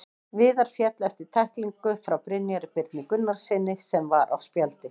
Viðar féll eftir tæklingu frá Brynjari Birni Gunnarssyni sem var á spjaldi.